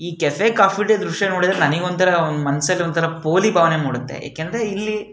ಈ Cafe Coffee Day ದ್ರಶ್ಯ ನೋಡಿದ್ರೆ ನನಗೆ ಒಂತರ ಮನಸಲ್ಲಿ ಒಂದು ಪೋಲಿ ಭಾವನೆ ಮೂಡುತ್ತೆ ಯಾಕಂದ್ರೆ ಇಲ್ಲಿ --